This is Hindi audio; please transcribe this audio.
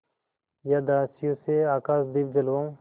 या दासियों से आकाशदीप जलवाऊँ